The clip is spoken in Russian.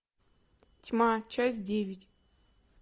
тьма часть девять